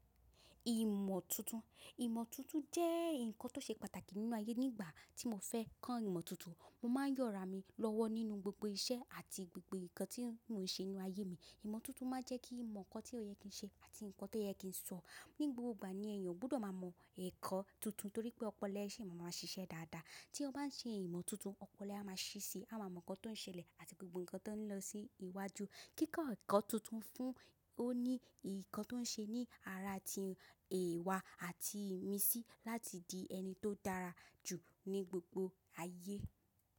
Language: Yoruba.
Ìmọ̀ tuntun, ìmọ̀ tuntun jẹ́ ǹkan tó ṣe pàtàkì nínú ayé. Nígbà tí mo fẹ́ kàn ìmọ̀ tuntun, mo máa ń yọ́ra mi lọ́wọ́ nínú gbogbo iṣẹ́ àti gbogbo ǹkan tí mò ń ṣe nínú ayé mi. Ìmọ̀ tuntun máa ń jẹ́ kí mo mọ ǹkan tí ó yẹ kí ń ṣe àti ǹkan tó yẹ kí ń sọ. Ni gbogbo ìgbà ni èèyàn gbọ́dọ̀ máa mọ ẹ̀kọ́ tuntun torí pé ọpọlọ ẹ ṣi mà mà ṣiṣẹ́ dáadáa. Tí o bá ń ṣe ìmọ̀ tuntun, ọpọlọ ẹ a máa ṣíṣe, a máa mọ ǹkan tó ń ṣẹlẹ̀ àti gbogbo ǹkan tó ń lọ sí iwájú. Kíkọ ẹ̀kọ́ tuntun fún ọ ní ǹkan tó ń ṣe ní ara ti ẹ̀ẹ̀wa àti ìmísí láti di ẹni tó dára jù ní gbogbo ayé.